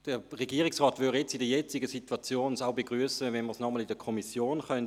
Der Regierungsrat würde es in der jetzigen Situation begrüssen, dies nochmals in der Kommission anzuschauen.